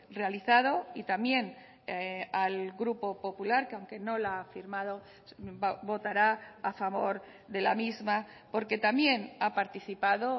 realizado y también al grupo popular que aunque no la ha firmado votará a favor de la misma porque también ha participado